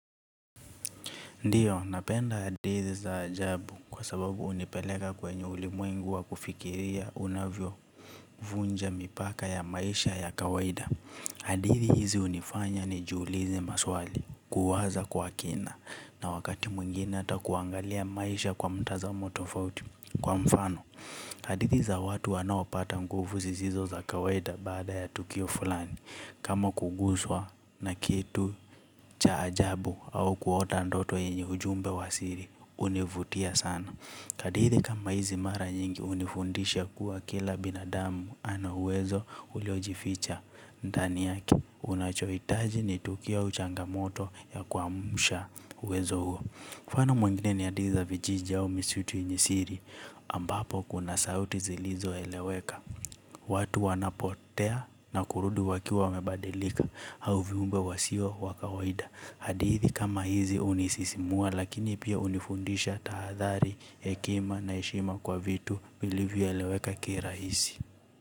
Ndiyo, napenda hadithi za ajabu kwa sababu hunipeleka kwenye ulimwengu wa kufikiria unavyo vunja mipaka ya maisha ya kawaida. Hadithi hizi hunifanya nijiulize maswali, kuwaza kwa kina, na wakati mwingine hata kuangalia maisha kwa mtazamo tofauti. Kwa mfano hadithi za watu wanaopata nguvu zisizo za kawaida baada ya tukio fulani kama kuguswa na kitu cha ajabu au kuota ndoto yenye ujumbe wa siri, hunivutia sana. Kadithi kama hizi mara nyingi hunifundisha kuwa kila binadamu ana uwezo uliojificha. Ndani yake, unachohitaji ni tukio au changamoto ya kwamsha uwezo huo. Mfano mwingine ni hadithi za vijiji au misitu yenye siri ambapo kuna sauti zilizo eleweka. Watu wanapotea na kurudi wakiwa wamebadilika au viumbe wasio wakawaida. Hadithi kama hizi hunisisimua lakini pia hunifundisha tahadhari hekima na heshima kwa vitu vilivyo eleweka kirahisi.